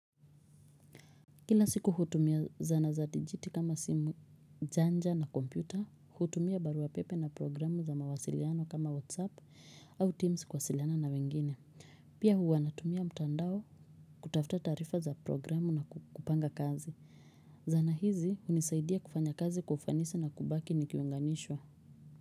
Kila siku hutumia zana za dijitali kama simu janja na kompyuta. Hutumia barua pepe na programu za mawasiliano kama WhatsApp au Teams kuwasiliana na wengine. Pia huwa natumia mtandao kutafuta taarifa za programu na kupanga kazi. Zana hizi hunisaidia kufanya kazi kwa ufanisi na kubaki nikiunganishwa.